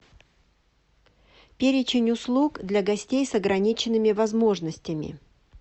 перечень услуг для гостей с ограниченными возможностями